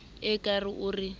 ee a ke o re